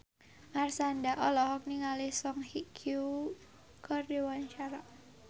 Marshanda olohok ningali Song Hye Kyo keur diwawancara